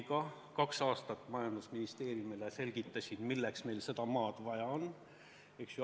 Selgitasin kaks aastat Majandus- ja Kommunikatsiooniministeeriumile, milleks meil seda maad vaja on.